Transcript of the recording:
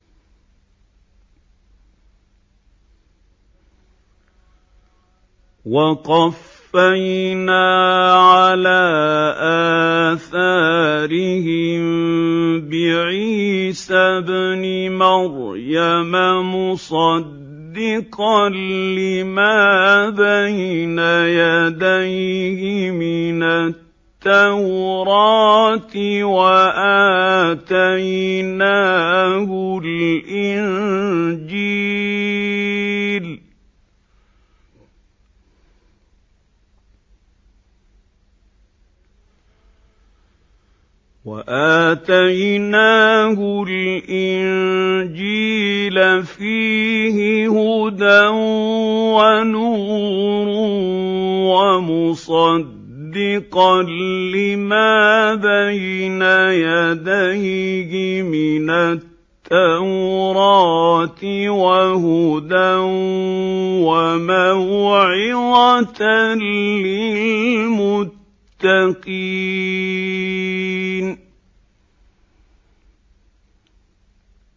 وَقَفَّيْنَا عَلَىٰ آثَارِهِم بِعِيسَى ابْنِ مَرْيَمَ مُصَدِّقًا لِّمَا بَيْنَ يَدَيْهِ مِنَ التَّوْرَاةِ ۖ وَآتَيْنَاهُ الْإِنجِيلَ فِيهِ هُدًى وَنُورٌ وَمُصَدِّقًا لِّمَا بَيْنَ يَدَيْهِ مِنَ التَّوْرَاةِ وَهُدًى وَمَوْعِظَةً لِّلْمُتَّقِينَ